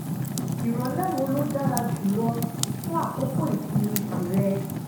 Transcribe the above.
ìrọ̀lẹ́ wo ló dára jù lọ fún àkókò ìsinmi tìrẹ?